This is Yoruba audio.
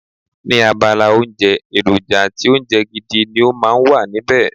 Ní abala oúnjẹ, èròjà àti oúnjẹ gidi ni ó máa ń wà níbẹ̀.